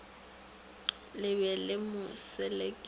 le be le mo selekiša